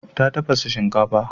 Ta tafasa shinkafa.